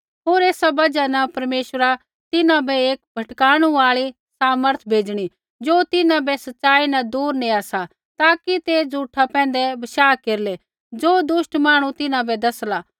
होर एसा बजहा न परमेश्वरा तिन्हां बै एक भटकाणु आल़ी सामर्थ भेज़णी ज़ो तिन्हां बै सच़ाई न दूर नेआ सा ताकि ते झ़ूठा पैंधै बशाह केरलै ज़ो दुष्ट मांहणु तिन्हां बै दसला